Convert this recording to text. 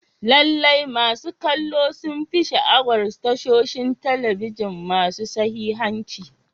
Lallai, masu kallo sun fi sha'awar tashoshin talabijin masu sahihanci.